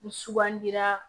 Ni sugandira